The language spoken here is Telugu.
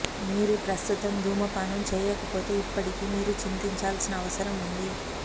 మీరు ప్రస్తుతం ధూమపానం చేయకపోతే ఇప్పటికీ మీరు చింతించాల్సిన అవసరం ఉంది